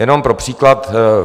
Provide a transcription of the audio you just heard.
Jenom pro příklad.